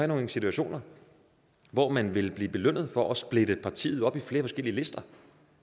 nogle situationer hvor man vil blive belønnet for at splitte partiet op i flere forskellige lister